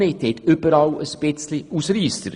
Sie haben überall einige wenige Ausreisser.